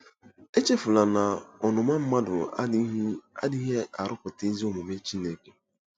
Echefula na “ọnụma mmadụ adịghị adịghị arụpụta ezi omume Chineke.”